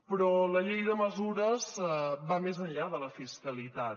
però la llei de mesures va més enllà de la fiscalitat